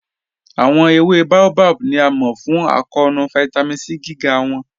Awọn èwé Baobab ni a mọ fún àkọọ̀nù Vitamin C gígá wọn.